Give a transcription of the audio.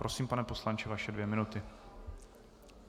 Prosím, pane poslanče, vaše dvě minuty.